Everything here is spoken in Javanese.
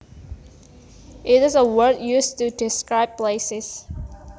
It is a word used to describe places